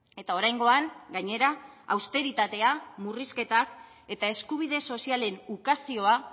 eta oraingoan gainera austeritatea murrizketak eta eskubide sozialen ukazioa